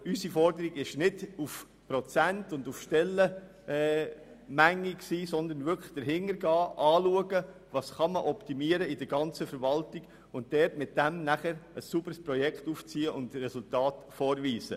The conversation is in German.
Aber unsere Forderung bezog sich nicht auf Prozente oder Stellen, sondern es ging darum, zu schauen, was man in der ganzen Verwaltung optimieren kann, und ein sauberes Projekt aufzuziehen und Resultate vorzuweisen.